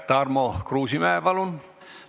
Tarmo Kruusimäe, palun!